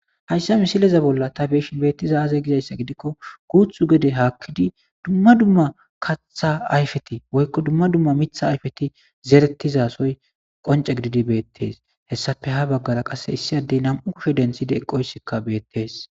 hayssa misileza bolla ta beeshi beettiza aze gizayssa gidikko guuthu gede haakkidi dumma dumma katha ayfeti woykko dumma dumma mitha ayfeti zeretizasoy qonce gididi beettes hessafe ha baggara qasse issi addey nam7u kushe denthide eqqoysikka beettees